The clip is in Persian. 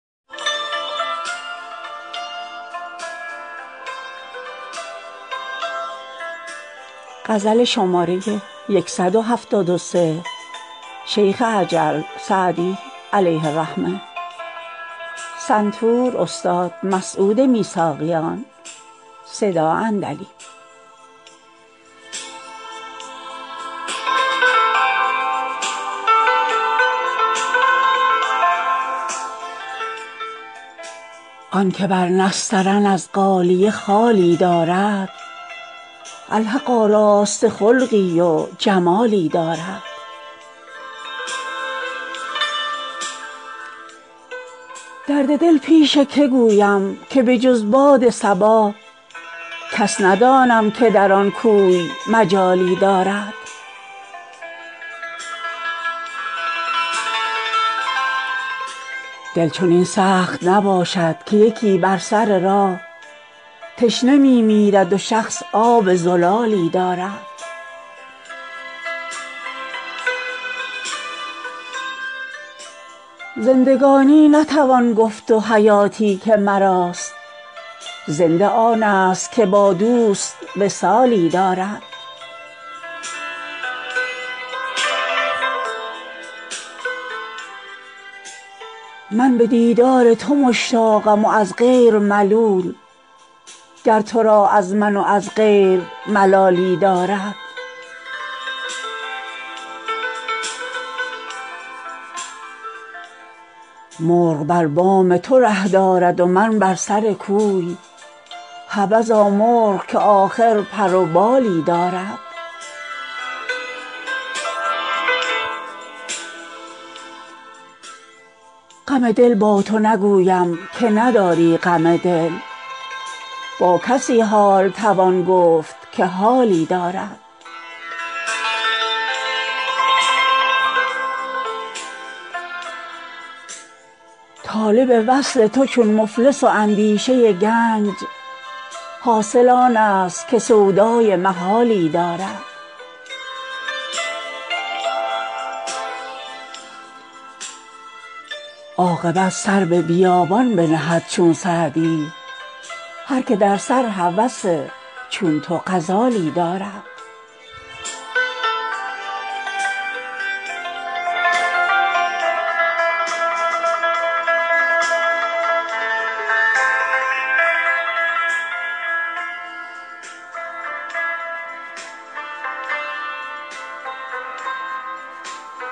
آن که بر نسترن از غالیه خالی دارد الحق آراسته خلقی و جمالی دارد درد دل پیش که گویم که به جز باد صبا کس ندانم که در آن کوی مجالی دارد دل چنین سخت نباشد که یکی بر سر راه تشنه می میرد و شخص آب زلالی دارد زندگانی نتوان گفت و حیاتی که مراست زنده آنست که با دوست وصالی دارد من به دیدار تو مشتاقم و از غیر ملول گر تو را از من و از غیر ملالی دارد مرغ بر بام تو ره دارد و من بر سر کوی حبذا مرغ که آخر پر و بالی دارد غم دل با تو نگویم که نداری غم دل با کسی حال توان گفت که حالی دارد طالب وصل تو چون مفلس و اندیشه گنج حاصل آنست که سودای محالی دارد عاقبت سر به بیابان بنهد چون سعدی هر که در سر هوس چون تو غزالی دارد